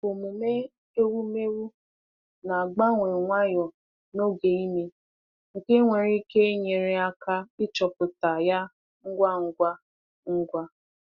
Omume ewumewụ na-agbanwe nwayọ n’oge ime, nke nwere ike nyere aka ịchọpụta ya ngwa ngwa. ngwa.